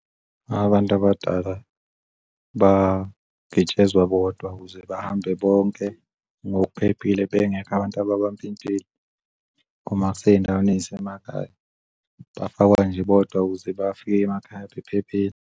Abantu abadala bangitshezwa bodwa ukuze bahambe bonke ngokuphephile bengekho abantu ababampintshile uma kusey'ndaweni ezisemakhaya. Bafakwa nje bodwa ukuze bafike emakhaya bephephile.